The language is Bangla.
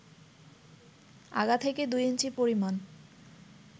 আগা থেকে ২ ইঞ্চি পরিমাণ